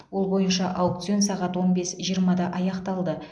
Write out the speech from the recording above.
ол бойынша аукцион сағат он бес жиырмада аяқталды